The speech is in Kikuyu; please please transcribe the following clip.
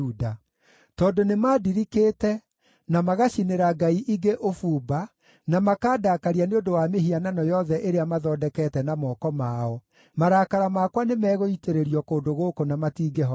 Tondũ nĩmandirikĩte, na magacinĩra ngai ingĩ ũbumba, na makandakaria nĩ ũndũ wa mĩhianano yothe ĩrĩa mathondekete na moko mao, marakara makwa nĩmegũitĩrĩrio kũndũ gũkũ na matingĩhoreka.’